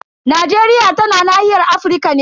Najeriya tana nahiyar Afirka ne.